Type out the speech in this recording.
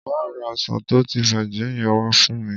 Má ra ọsàn tó ti bàjẹ́ yẹn wa fún mi.